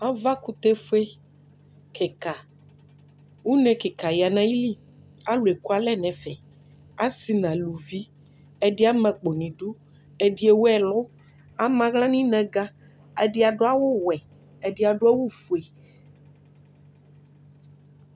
ava kutɛ fue keka une keka ya n'ayili alò eku alɛ n'ɛfɛ asi n'aluvi ɛdi ama akpo n'idu ɛdi ewu ɛlu ama ala n'inaga ɛdi adu awu wɛ ɛdi adu awu fue.